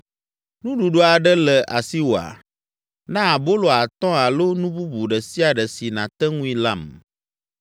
Nuɖuɖu aɖe le asiwòa? Na abolo atɔ̃ alo nu bubu ɖe sia ɖe si nàte ŋui lam.”